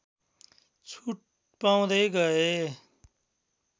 छुट पाउँदै गए